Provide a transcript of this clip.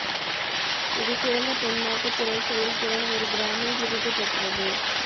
இது சிறந்த பெண் நாட்டு குரல் செயல்திறன் ஒரு கிராமி விருது பெற்றது